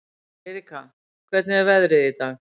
Eiríka, hvernig er veðrið í dag?